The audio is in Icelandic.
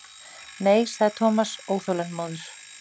Nei sagði Thomas óþolinmóður.